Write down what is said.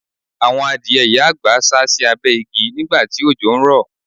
Àwọn adìẹ ìyá àgbà sá sì abẹ́ igi nígbà tí òjò ń rò.